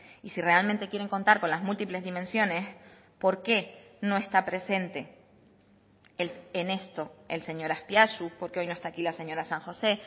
y si realmente quieren contar con las múltiples dimensiones por qué no está presente en esto el señor azpiazu por qué hoy no está aquí la señora san josé